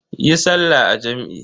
Yi sallah a jam'i.